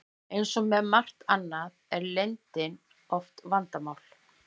Eins og með margt annað er leyndin oft vandamál.